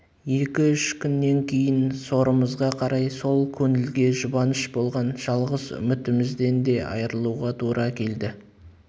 екі-үш күннен кейін сорымызға қарай сол көңілге жұбаныш болған жалғыз үмітімізден де айырылуға тура келді